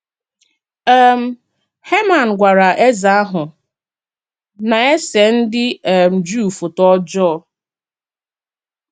um Heman gwara eze ahụ, na-ese ndị um Juu fọ́tọ ọjọọ.